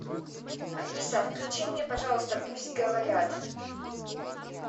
алиса включи мне пожалуйста пусть говорят